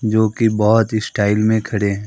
जो की बहोत ही स्टाइल में खड़े हैं।